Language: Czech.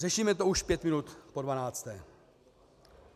Řešíme to už pět minut po dvanácté.